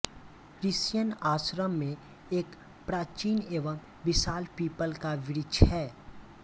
ऋषियन आश्रम में एक प्राचीन एवं विशाल पीपल का वृक्ष है